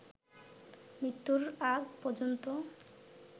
মৃত্যুর আগ পর্যন্ত